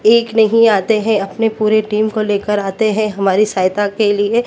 एक नहीं आते हैं अपने पूरे टीम को लेकर आते हैं हमारी सहायता के लिए।